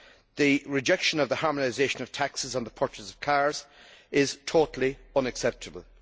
The rejection of the harmonisation of taxes on the purchase of cars is totally unacceptable.